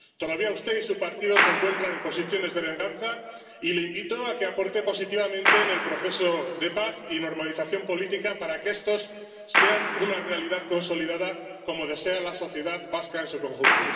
Todavía usted y su partido se encuentran en posiciones de venganza, y le invito a que aporte positivamente al proceso de paz y normalización política para que esto sea una realidad consolidada, como desea la sociedad vasca en su conjunto.